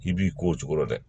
I b'i ko o cogo la dɛ